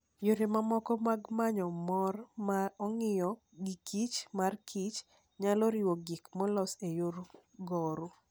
Yore mamoko mag manyo mor ma ong'iyo giKich marKich, nyalo riwo gik molos e yor goro.